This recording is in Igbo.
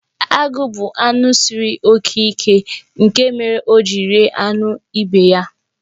Agụ bụ anụ siri oke ike, nke mere o ji rie anụ ibe ya.